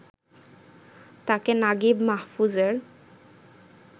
তাঁকে নাগিব মাহফুজের